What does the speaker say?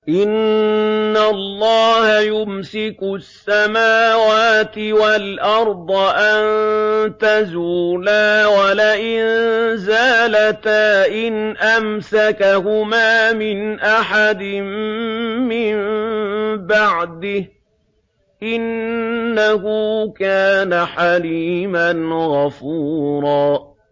۞ إِنَّ اللَّهَ يُمْسِكُ السَّمَاوَاتِ وَالْأَرْضَ أَن تَزُولَا ۚ وَلَئِن زَالَتَا إِنْ أَمْسَكَهُمَا مِنْ أَحَدٍ مِّن بَعْدِهِ ۚ إِنَّهُ كَانَ حَلِيمًا غَفُورًا